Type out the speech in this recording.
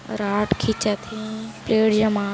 rod खीचत थे पेड़ लामत--